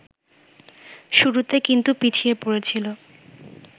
শুরুতে কিন্তু পিছিয়ে পড়েছিল